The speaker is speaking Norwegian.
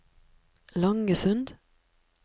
Langesund